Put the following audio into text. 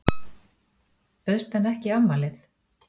Bauðstu henni ekki í afmælið?